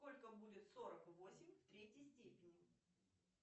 сколько будет сорок восемь в третье степени